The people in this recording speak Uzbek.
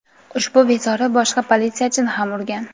ushbu bezori boshqa politsiyachini ham urgan.